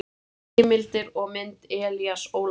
Heimildir og mynd: Elías Ólafsson.